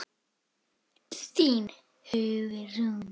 Þín, Hugrún.